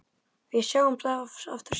Við sjáumst aftur síðar.